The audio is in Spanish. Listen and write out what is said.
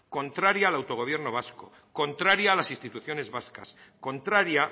contraria al autogobierno vasco contraria a las instituciones vascas contraria